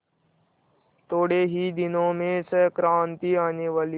थोड़े ही दिनों में संक्रांति आने वाली है